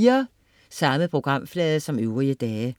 Samme programflade som øvrige dage